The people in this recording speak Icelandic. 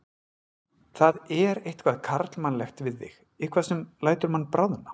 Það er eitthvað karlmannlegt við þig, eitthvað sem lætur mann bráðna.